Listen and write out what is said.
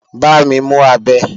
Bámi mú abẹ!